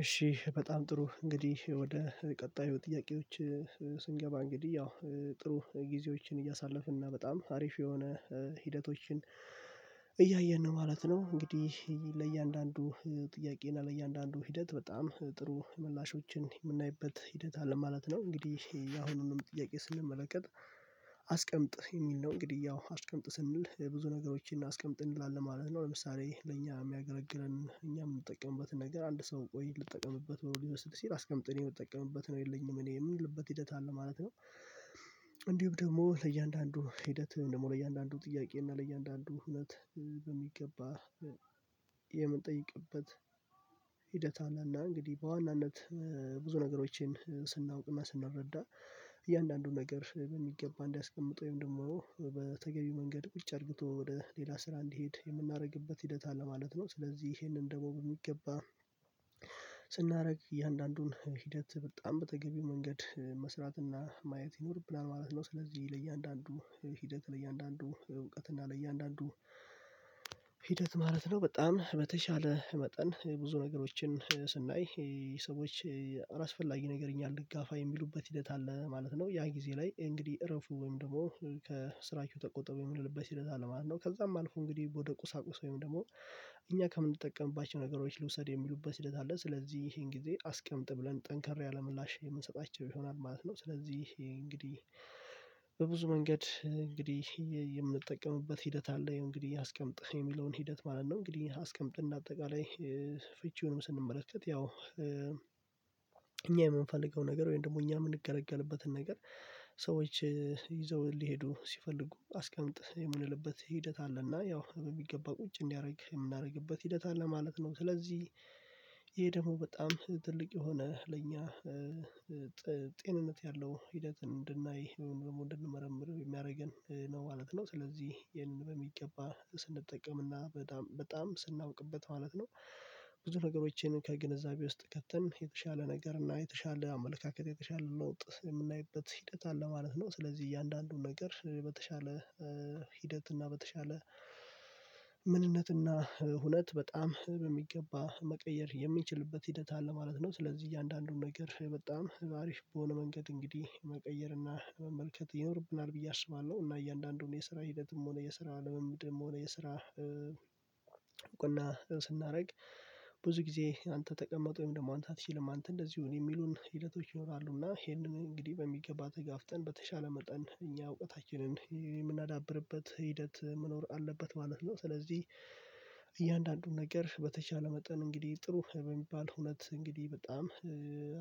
እሺ በጣም ጥሩ እንግዲህ ወደ ቀጣዩ ጥያቄዎች እንግዲህ ያው ጥሩ ጊዜዎችን እያሳለፍን እና በጣም አሪፍ የሆነ ሂደቶችን እያየን ነው ማለት ነው። እንግዲህ ለእያንዳንዱ ጥያቄ እና ለእያንዳንዱ ሂደት በጣም ጥሩ ምላሾችን የምናይበት ሂደት አለ ማለት ነው። እንግዲህ ያሁኑንም ጥያቄ ስንመለከት አስቀምጥ የሚል ነው። እንግዲህ ያው አስቀምጥ ስንል ብዙ ነገሮችን አስቀምጥ እንላለን ማለት ነው። ለምሳሌ ለእኛ የሚያገለግለን እኛ የምጠቀምበትን ነገር አንድ ሰው ቆይ ልጠቀምበት ብሎ ሊወስድ ሲል አስቀምጥን የምጠቀምበት ነው የለኝም እኔ የምልበት ሂደት አለ ማለት ነው። እንዲሁም ደግሞ ለእያንዳንዱ ሂደት ደግሞ ለእያንዳንዱ ጥያቄ እና ለእያንዳንዱ እውነት በሚገባ የምንጠይቅበት አናና እንግዲህ በዋናነት ብዙ ነገሮችን ስናውቅና ስንረዳ እያንዳንዱን ነገር የሚገባ እንዲያስቀምጥ ወይም ደግሞ በተገቢው መንገድ ቁጭ አድርግቶ ወደ ሌላ ስራ እንዲሄድ የምናደርግበት ሂደት አለ ማለት ነው። ስለዚህ ይሄንን ደግሞ በሚገባ ስናደርግ እያንዳንዱን ሂደት በጣም በተገቢው መንገድ መስራትና ማየት ይኖርብናለን ማለት ነው። ስለዚህ ለእያንዳንዱ ሂደት ለእያንዳንዱ እውቀት እና ለእያንዳንዱ ሂደት ማለት ነው በጣም በተሻለ መጠን ብዙ ነገሮችን ስናይ ሰዎች አላስፈላጊ ነገር እኛ እንጋፋ የሚሉበት ሂደት አለ ማለት ነው። ያ ጊዜ ላይ እንግዲህ እረፉ ወይም ደግሞ ከስራችሁ ተቆጠቡ የምልልበት ይልቅ ማለት ነው። ከዛም አልፎ እንግዲህ ወደ ቁሳቁስ ወይም ደግሞ እኛ ከምንጠቀምባቸው ነገሮች ልውሰድ የሚሉበት ሂደት አለ። ስለዚህ ይሄን ጊዜ አስቀምጥ ብለን ጠንከር ያለ ምላሽ የምንሰጣቸው ይሆናል ማለት ነው። ስለዚህ እንግዲህ በብዙ መንገድ እንግዲህ የምንጠቀምበት ሂደት አለ እንግዲህ አስቀምጥህ የሚለውን ሂደት ማለት ነው። እንግዲህ አስቀምጥ እና አጠቃላይ ፍቺውንም ስንመለከት ያው እኛ የምንፈልገው ነገር ወይም ደግሞ እኛ የምንገለገልበትን ነገር ሰዎች ይዘው ሊሄዱ ሲፈልጉ አስቀምጥ የምንልበት ሂደት አለና ያው በሚገባ ቁጭ እንዲያደርግ የምናደርግበት ሂደት አለ ማለት ነው። ስለዚህ ይሄ ደግሞ በጣም ትልቅ የሆነ ለኛ ጤንነት ያለው ሂደትን እንድናይ ደግሞ እንድንመረምር የሚያደርገን ነው ማለት ነው። ስለዚህ ይሄንን በሚገባ ስንጠቀምና በጣም በጣም ስናውቅበት ማለት ነው። ብዙ ነገሮችን ከግንዛቤ ውስጥ ከተን የተሻለ ነገር እና የተሻለ አመለካከት የተሻለ ለውጥ የምናይበት ሂደት አለ ማለት ነው። ስለዚህ እያንዳንዱ ነገር በተሻለ ሂደት እና በተሻለ ምንነትና እና ሁነት በጣም በሚገባ መቀየር የሚችልበት ሂደት አለ ማለት ነው። ስለዚህ እያንዳንዱን ነገር በጣም አሪፍ በሆነ መንገድ እንግዲህ መቀየርና መመልከት ይኖርብናል ብዬ አስባለሁ። እና እያንዳንዱን የስራ ሂደትም ሆነ የስራ ልምምድም ሆነ የስራ እውቅና ስናደርግ ብዙ ጊዜ አንተ ተቀመጥ ወይም ደግሞ አንተ አትችልም አንተ እንደዚሁ እኔ የሚሉን ሂደቶች ይኖራሉና ይሄንን እንግዲህ በሚገባ ተጋፍጠን በተሻለ መጠን እኛ እውቀታችንን የምናዳብርበት ሂደት መኖር አለበት ማለት ነው። ስለዚህ እያንዳንዱን ነገር በተቻለ መጠን እንግዲህ ጥሩ በሚባል እውነት እንግዲህ በጣም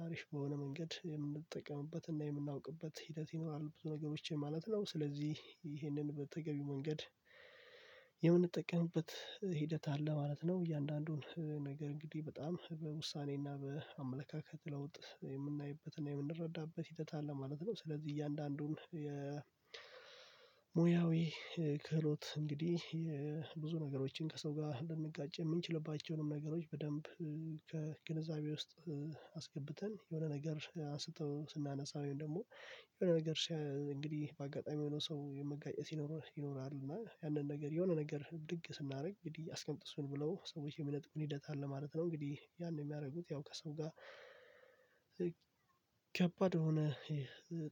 አሪፍ በሆነ መንገድ የምንጠቀምበትና የምናውቅበት ሂደት ይኖራል ብዙ ነገሮች ማለት ነው። ስለዚህ ይህንን በተገቢ መንገድ የምንጠቀምበት ሂደት አለ ማለት ነው። እያንዳንዱን ነገር እንግዲህ በጣም በውሳኔና በአመለካከት ለውጥ የምናይበትና የምንረዳበት ሂደት አለ ማለት ነው። ስለዚህ እያንዳንዱን የሙያዊ ክህሎት እንግዲህ የብዙ ነገሮችን ከሰው ጋር ልንጋጭ የምንችልባቸውንም ነገሮች በደንብ ከግንዛቤ ውስጥ አስገብተን የሆነ ነገር አስቶ ስናነሳ ወይም ደግሞ የሆነ ነገር እንግዲህ በአጋጣሚ የሆነው ሰው መጋጨት ይኖርህ ይኖርሃል እና ያንን ነገር የሆነ ነገር ብድግ ስናደርግ እንግዲህ አስቀምጥእሱን ብለው ሰዎች የሚነጥቁን ሂደት ማለት ነው። እንግዲህ ያን የሚያደርጉት ያው ከሰው ጋር ከባድ የሆነ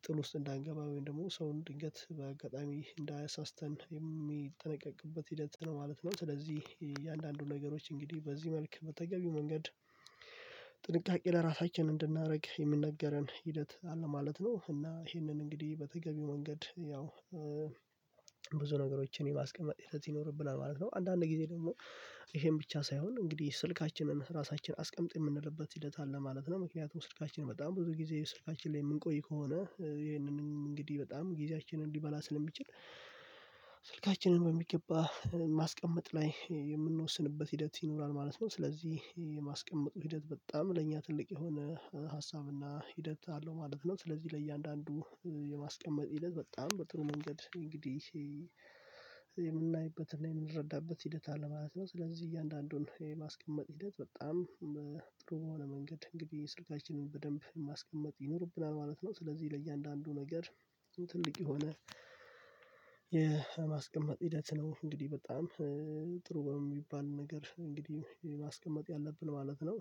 ጥል ውስጥ እንዳንገባ ወይም ደግሞ ሰውን ድንገት በአጋጣሚ እንዳያሳስተን የሚጠነቀቅበት ሂደት ነው ማለት ነው። ስለዚህ እያንዳንዱን ነገሮች እንግዲህ በዚህ መልኩ በተገቢው መንገድ ጥንቃቄ ለራሳችን እንድናደርግ የምንነገረን ሂደት አለ ማለት ነው። እና ይሄንን እንግዲህ በተገቢው መንገድ ያው ብዙ ነገሮችን የማስቀመጥ ሂደት ይኖርብናል ማለት ነው። አንዳንድ ጊዜ ደግሞ ይሄን ብቻ ሳይሆን እንግዲህ ስልካችንን እና ራሳችንን አስቀምጥ የምንልበት ሂደት አለ ማለት ነው። ምክንያቱም ስልካችን በጣም ብዙ ጊዜ ስልካችን ላይ የምንቆይ ከሆነ ይሄንን እንግዲህ በጣም ጊዜያችንን ሊበላ ስለሚችል ስልካችንን በሚገባ ማስቀመጥ ላይ የምንወስንበት ሂደት ይኖራል ማለት ነው። ስለዚህ የማስቀመጡ ሂደት በጣም ለእኛ ትልቅ የሆነ ሀሳብና ሂደት አለው ማለት ነው። ስለዚህ ለእያንዳንዱ የማስቀመጥ ሂደት በጣም በጥሩ መንገድ እንግዲህ የምናይበትን የምንረዳበት ሂደት አለ ማለት ነው። ስለዚህ እያንዳንዱን የማስቀመጥ ሂደት በጣም ጥሩ በሆነ መንገድ እንግዲህ ስልካችንን በደንብ ማስቀመጥ ይኖርብናል ማለት ነው። ስለዚህ ለእያንዳንዱ ነገር ትልቅ የሆነ የማስቀመጥ ሂደት ነው እንግዲህ በጣም ጥሩ በሚባል ነገር እንግዲህ የማስቀመጥ ያለብን ማለት ነው።